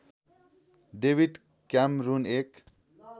David Cameron एक